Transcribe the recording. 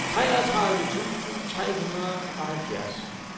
treogtredive tusind tre hundrede og halvfjerds